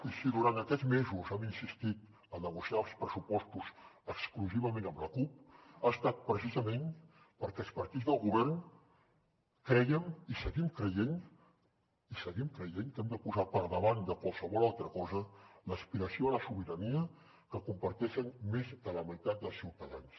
i si durant aquests mesos hem insistit a negociar els pressupostos exclusivament amb la cup ha estat precisament perquè els partits del govern crèiem i seguim creient i ho seguim creient que hem de posar per davant de qualsevol altra cosa l’aspiració a la sobirania que comparteixen més de la meitat dels ciutadans